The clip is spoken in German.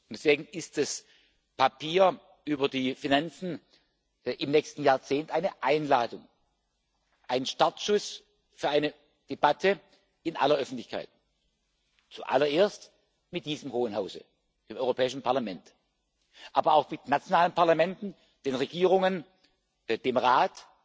Deswegen ist das Papier über die Finanzen im nächsten Jahrzehnt eine Einladung, ein Startschuss für eine Debatte in aller Öffentlichkeit zuallererst mit diesem Hohen Hause, dem Europäischen Parlament, aber auch mit nationalen Parlamenten, den Regierungen, dem Rat,